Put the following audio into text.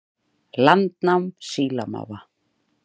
Landnám sílamáfa